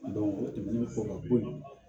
o tɛmɛnen kɔ ka bɔ yen